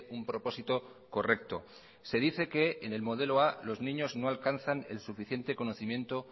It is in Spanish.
un propósito correcto se dice que en el modelo a los niños no alcanzan el suficiente conocimiento